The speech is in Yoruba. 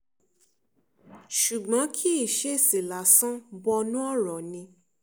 ṣùgbọ́n kì í ṣe èsì lásán bọnú ọ̀rọ̀ ni